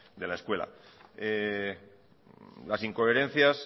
de la escuela las incoherencias